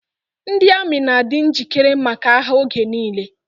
Ndị amị na-adi njikere maka agha oge nile.